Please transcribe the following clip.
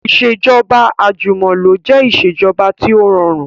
Ìsèjọba àjùmọ̀lo jẹ ìsèjọba tí ó rọrùn